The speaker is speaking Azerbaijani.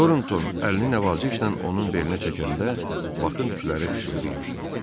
Torton əlini nəvazəşlə onun belinə çəkəndə Bakın tükləri xışıldayırdı.